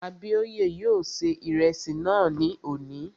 Abíóyè yóò ṣe ìrẹsì náà ní òní